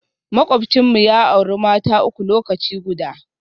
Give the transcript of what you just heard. Makwabcinmu ya auri mata uku lokaci guda